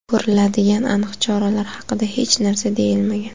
Ko‘riladigan aniq choralar haqida hech narsa deyilmagan.